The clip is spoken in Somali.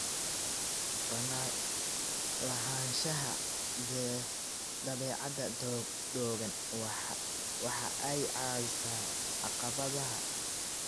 Lahaanshaha dabeecad togan waxa ay caawisaa caqabadaha.